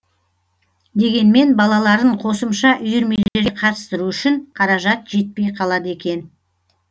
дегенмен балаларын қосымша үйірмелерге қатыстыру үшін қаражат жетпей қалады екен